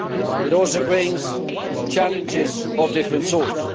It also brings challenges of different sorts.